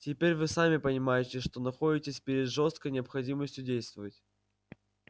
теперь вы сами понимаете что находитесь перед жёсткой необходимостью действовать